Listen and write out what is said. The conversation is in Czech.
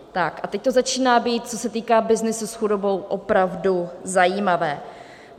Tak a teď to začíná být, co se týká byznysu s chudobou, opravdu zajímavé.